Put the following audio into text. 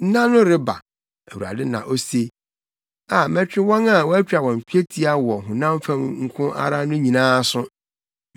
“Nna no reba,” Awurade na ose, “A mɛtwe wɔn a wɔatwa twetia wɔ honam fam nko ara no nyinaa aso: